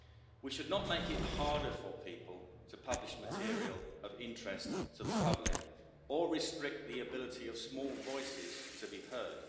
We should not make it harder for people to publish material of interest to the public or restrict the ability of small voices to be heard.